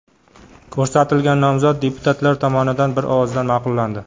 Ko‘rsatilgan nomzod deputatlar tomonidan bir ovozdan ma’qullandi.